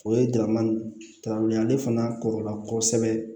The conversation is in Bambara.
O ye dama dabila ye ale fana kɔrɔla kosɛbɛ